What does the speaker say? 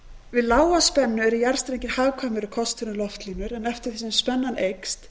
við lága spennu eru jarðstrengir hagkvæmari kostur en loftlínur en eftir því sem spennan eykst